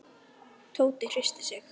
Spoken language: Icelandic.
Tóti hristi sig.